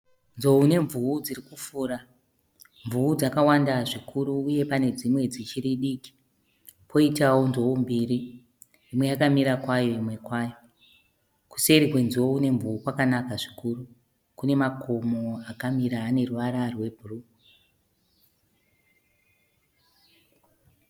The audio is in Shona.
Nzou nemvuu dziri kufura, mvuu dzakawanda zvikuru uye pane dzimwe dzichiri diki. Poitawo nzou mbiri, imwe yakamira kwayo imwe kwayo. Kuseri kwenzou nemvuu kwakanaka zvikuru kune makomo akamira ane ruvara rwe bhuruu.